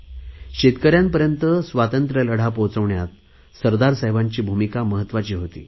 शेतकऱ्यांपर्यंत स्वातंत्र्य लढा पोहोचविण्यात सरदार साहेबांची भूमिका महत्त्वाची होती